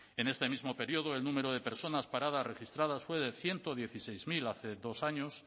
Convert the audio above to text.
en este mismo periodo el número de personas paradas registradas fue de ciento dieciséis mil hace dos años